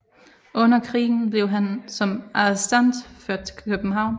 Under krigen blev han som arrestant ført til København